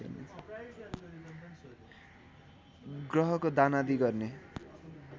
ग्रहको दानादि गर्ने